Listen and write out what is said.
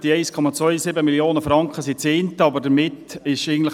Die 1,27 Mio. Franken sind das eine.